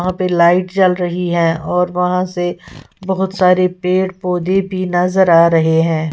वहां पर लाइट जल रही है और वहां से बहुत सारे पेड़ पौधे भी नजर आ रहे हैं।